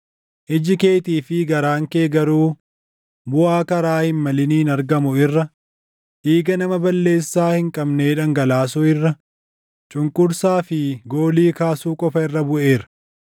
Iji keetii fi garaan kee garuu buʼaa karaa hin maliniin argamu irra, dhiiga nama balleessaa hin qabnee dhangalaasuu irra, cunqursaa fi goolii kaasuu qofa irra buʼeera.